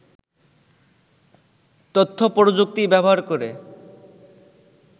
তথ্যপ্রযুক্তি ব্যবহার করে